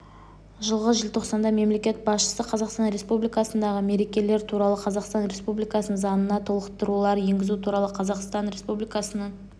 жылғы желтоқсанда мемлекет басшысы қазақстан республикасындағы мерекелер туралы қазақстан республикасының заңына толықтырулар енгізу туралы қазақстан республикасының